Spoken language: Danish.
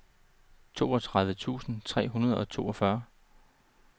toogtredive tusind tre hundrede og toogfyrre